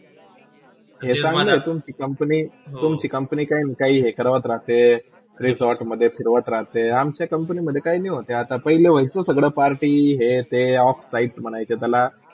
आता तुमची company तुमची company काही करावत राहते resort मधे फिरोवत राहते आमच्या company मधे काही होत नाही आता, पहिले होयचे सगळ्या party हे ते offsite म्हणायचे त्याला.